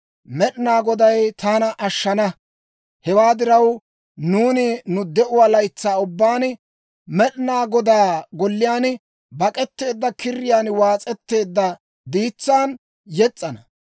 Med'inaa Goday taana ashshana; hewaa diraw, nuuni nu de'uwaa laytsaa ubbaan, Med'inaa Godaa golliyaan bak'etteedda kiriyaan waas'etteedda diitsaan yes's'ana.